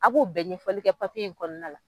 A b'o bɛɛ ɲɛfɔli kɛ papiye in kɔnɔna la.